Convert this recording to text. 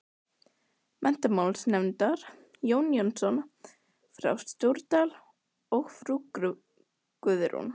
Menntamálanefndar, Jón Jónsson frá Stóradal og frú Guðrún